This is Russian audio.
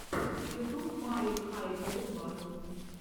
ютуб мали хай тэк батл